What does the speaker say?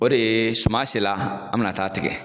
O de ye suma sela an be na taa tigɛ